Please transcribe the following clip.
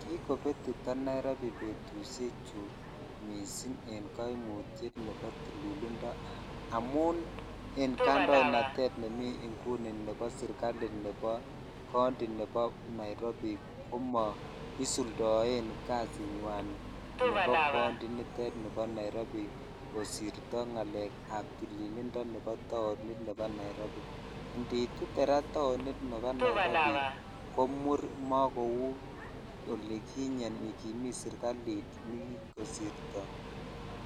Kikobetito Nairobi betushechu mising en koimutiet nebo tililindo amun en kandoinatet nebo serikali nebo county nebo Nairobi komoisuldoen kasinywan nebo county initet nebo Nairobi kosirto ngalekab tililindo nebo taonit nebo Nairobi, indiitite raa taonit nebo Nairobi ko muur mokou olikinye yukimii serikalit nekikosirto